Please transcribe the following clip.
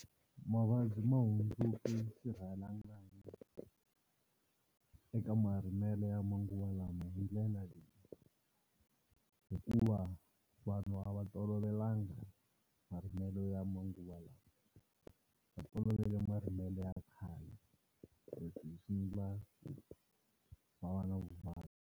Mavabyi ma hundzuki swirhalanganyi eka marimelo ya manguva lawa hi ndlela leyi, hikuva vanhu va a tolovelanga marimelo ya manguva lawa va tolovele marimelo ya khale leswi swi endla va va na vuvabyi.